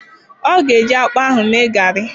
Ọ ga-eji akpụ ahụ mee garị.